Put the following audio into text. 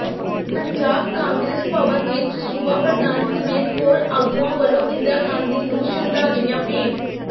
ਪੰਜਾਬ ਕਾਂਗਰਸ ਭਵਨ ਵਿਚ ਸੂਬਾ ਪ੍ਰਧਾਨ ਸਮੇਤ ਹੋਰ ਆਗੂਆਂ ਵੱਲੋਂ ਇੰਦਰਾ ਗਾਂਧੀ ਨੂੰ ਸ਼ਰਧਾਂਜਲੀਆਂ ਭੇਂਟ